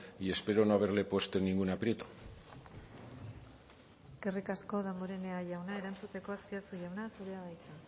y espero no haberle puesto en ningún aprieto eskerrik asko damborenea jauna erantzuteko azpiazu jauna zurea da hitza